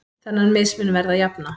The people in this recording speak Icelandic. Þennan mismun verði að jafna.